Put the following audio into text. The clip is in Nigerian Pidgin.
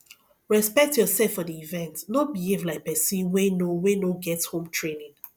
respect yourself for di event no behave like persin wey no wey no get home tranning